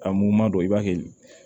Ka muguma don i b'a kɛ